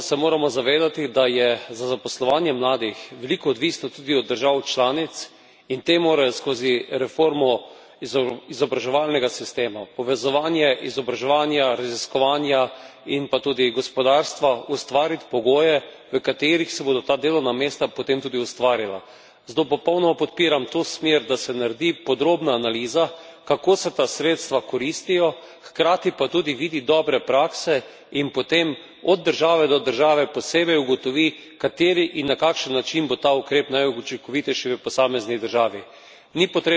Prav tako pa se moramo zavedati, da je za zaposlovanje mladih veliko odvisno tudi od držav članic, in te morajo skozi reformo izobraževalnega sistema, povezovanje izobraževanja, raziskovanja in pa tudi gospodarstva, ustvariti pogoje, v katerih se bodo ta delovna mesta potem tudi ustvarila. Zato popolnoma podpiram to smer, da se naredi podrobna analiza, kako se ta sredstva koristijo, hkrati pa tudi vidi dobre prakse in potem, od države do države, posebej ugotovi, kateri in na kakšen način bo ta ukrep najučinkovitejši v posamezni državi.